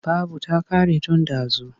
Babu ta ƙare tun ɗazu.